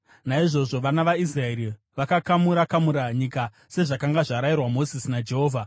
Naizvozvo vana vaIsraeri vakakamura-kamura nyika, sezvazvakanga zvarayirwa Mozisi naJehovha.